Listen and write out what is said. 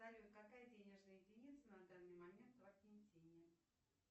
салют какая денежная единица на данный момент в аргентине